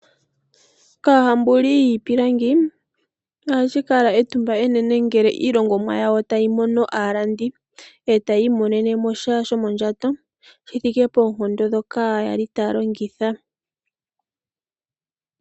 Kaahambuli yiipilangi ohashi kala etumba enene ngele iilongomwa yawo tayi mono aalandi. Etayi imonene sha shomondjato shi thike poonkondo dhoka yali taya longitha.